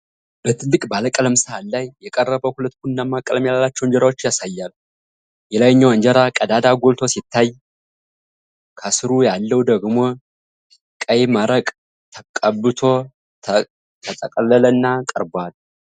በትልቅ ባለቀለም ሰሃን ላይ የቀረበ ሁለት ቡናማ ቀለም ያላቸውን እንጀራዎችን ያሳያል። የላይኛው እንጀራ ቀዳዳው ጎልቶ ሲታይ፣ ከስሩ ያለው ደግሞ ቀይ መረቅ ቀብቶ ተጠቀለለና ቀርቧል?